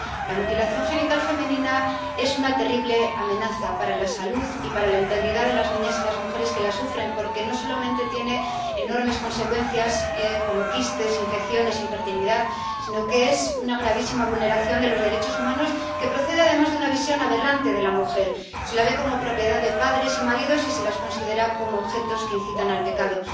La mutilación genital femenina es una terrible amenaza para la salud y para la integridad de las niñas y las mujeres que la sufren, porque no solamente tiene enormes consecuencias, como quistes, infecciones, infertilidad, sino que es una gravísima vulneración de los derechos humanos, que procede, además, de una visión aberrante de la mujer se las ve como propiedad de padres y maridos y se las considera como objetos que incitan al pecado.